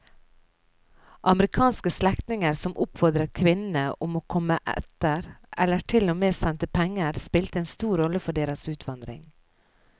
Amerikanske slektninger som oppfordret kvinnene om å komme etter eller til og med sendte penger spilte en stor rolle for deres utvandring.